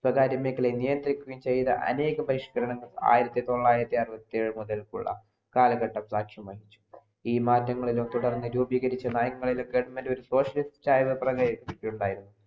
സ്വകാര്യ മേഖലയെ നിയന്ത്രിക്കുകയും ച്യ്ത അനേകം പരിഷ്‌കരണങ്ങൾ ആയിരത്തി തൊള്ളരത്തി അറുവത്തേഴ് മുതൽകുള്ള കാലഘട്ട തീരുമാനിച്ചു ഈ മാറ്റങ്ങളിലൊക്കെ രൂപീകരറിച്ച നയങ്ങളിൽ government ഒരു ഉണ്ടായിരുന്നു -